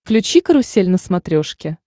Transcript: включи карусель на смотрешке